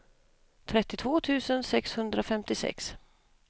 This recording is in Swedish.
trettiotvå tusen sexhundrafemtiosex